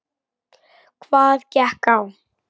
Hvað gekk á?